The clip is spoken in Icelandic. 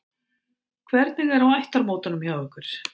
Hvernig er á ættarmótunum hjá ykkur?